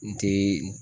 N te